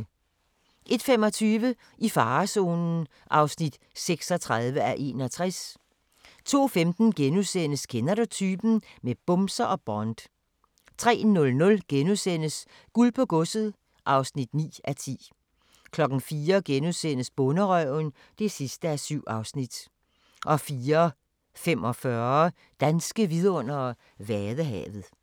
01:25: I farezonen (36:61) 02:15: Kender du typen? - med bumser og Bond * 03:00: Guld på Godset (9:10)* 04:00: Bonderøven (7:7)* 04:45: Danske vidundere: Vadehavet